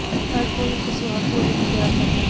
ਹਰ ਕੋਈ ਇੱਕ ਸਵਾਦ ਭੋਜਨ ਨੂੰ ਪਿਆਰ ਕਰਦਾ ਹੈ